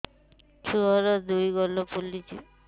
ଛୁଆର୍ ଦୁଇ ଗାଲ ଫୁଲିଚି